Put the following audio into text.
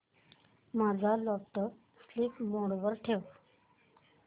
माझा laptop sleep mode वर ठेव